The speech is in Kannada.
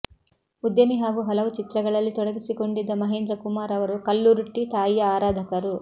ಉದ್ಯಮಿ ಹಾಗೂ ಹಲವು ಚಿತ್ರಗಳಲ್ಲಿ ತೊಡಗಿಸಿಕೊಂಡಿದ್ದ ಮಹೇಂದ್ರ ಕುಮಾರ್ ಅವರು ಕಲ್ಲುರ್ಟಿ ತಾಯಿಯ ಆರಾಧಕರು